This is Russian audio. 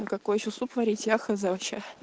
а какой ещё суп варить я хз вообще